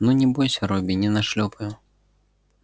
ну не бойся робби не нашлёпаю